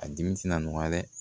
A dimi na nɔgɔya dɛ